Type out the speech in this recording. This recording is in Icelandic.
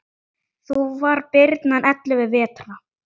Þá var birnan ellefu vetra.